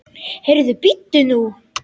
Heyrðu, bíddu nú.